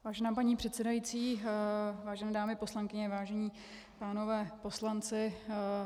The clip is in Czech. Vážená paní předsedající, vážené dámy poslankyně, vážení pánové poslanci.